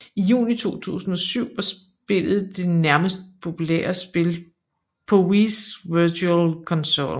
I juni 2007 var spillet det næstmest populære spil på Wiis Virtual Console